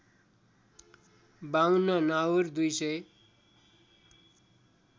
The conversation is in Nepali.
५२ नाउर २ सय